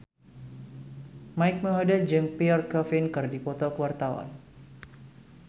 Mike Mohede jeung Pierre Coffin keur dipoto ku wartawan